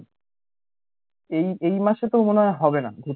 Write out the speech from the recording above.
এই এই মাসে তো মনে হয় হবে না